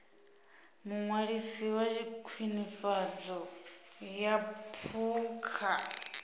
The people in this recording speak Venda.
muṅwalisi wa khwinifhadzo ya phukha